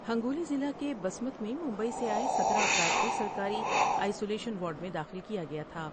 ہنگو لی ضلع کے بسمت میں ممبئی سے آۓ ستارہ افراد کو سرکاری آئیسولیشن وارڈ میں داخل کیا گیا تھا ۔